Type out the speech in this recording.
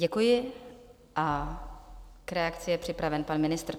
Děkuji a k reakci je připraven pan ministr.